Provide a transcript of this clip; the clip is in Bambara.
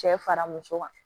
Cɛ fara muso kan